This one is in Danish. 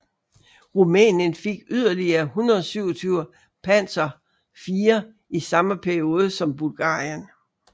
Rumænien fik yderligere 127 Panzer IV i samme periode som Bulgarien